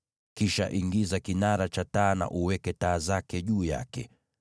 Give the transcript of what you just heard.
Kisha ingiza kinara cha taa na uweke taa zake juu yake.